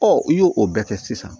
i y'o o bɛɛ kɛ sisan